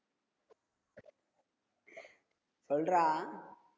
சொல்றா